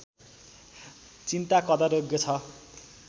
चिन्ता कदरयोग्य छ